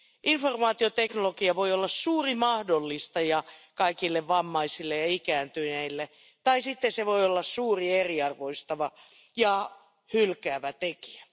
Informaatioteknologia voi olla suuri mahdollistaja kaikille vammaisille ja ikääntyneille tai sitten se voi olla suuri eriarvoistava ja hylkivä tekijä.